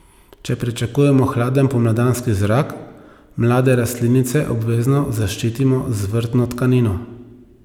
Če pričakujemo hladen pomladanski zrak, mlade rastlinice obvezno zaščitimo z vrtno tkanino.